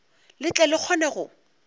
le tle le kgone go